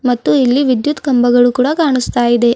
ಮತ್ತು ಇಲ್ಲಿ ವಿದ್ಯುತ್ ಕಂಬಗಳು ಕೂಡ ಕಾಣಿಸ್ತಾ ಇದೆ.